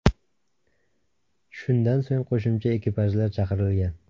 Shundan so‘ng qo‘shimcha ekipajlar chaqirilgan.